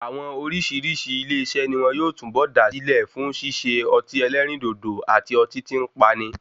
Àwọn oríṣìíríṣìí ilé iṣé ni wón yóò túnbọ̀ dá sílẹ̀ fún ṣíṣe ọtí ẹlẹ́rìndòdò àti ọtí tí ń pani.